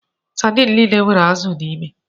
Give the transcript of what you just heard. Sadini niile nwere azụ n'ime.